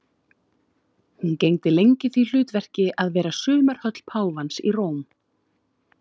Hún gegndi lengi því hlutverki að vera sumarhöll páfans í Róm.